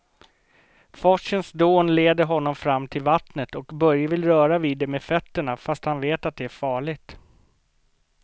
Forsens dån leder honom fram till vattnet och Börje vill röra vid det med fötterna, fast han vet att det är farligt.